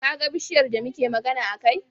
Kaga bishiyar da muke magana a kai?